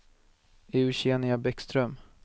Eugenia Bäckström